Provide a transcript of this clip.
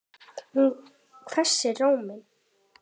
Hún hvessir róminn.